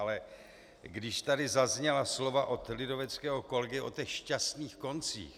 Ale když tady zazněla slova od lidoveckého kolegy o těch šťastných koncích...